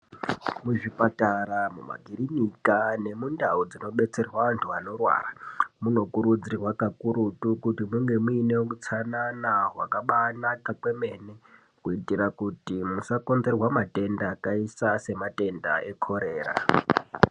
Muzvipatara, mumakirinika nemundau dzinobetserwa vanhu vanorwara munokurudzirwa kakurutu kuti munge muine utsanana hwakabaanaka kwemene kuitira kuti musakonzerwa matenda, akaita sematenda eKorera.